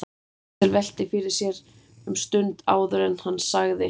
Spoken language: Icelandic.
Axel velti því fyrir sér um stund áður en hann sagði